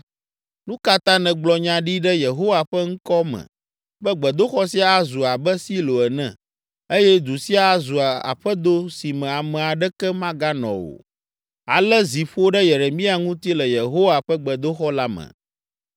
Nu ka ta nègblɔ nya ɖi ɖe Yehowa ƒe ŋkɔ me be gbedoxɔ sia azu abe Silo ene eye du sia azu aƒedo si me ame aɖeke maganɔ o?” Ale zi ƒo ɖe Yeremia ŋuti le Yehowa ƒe gbedoxɔ la me.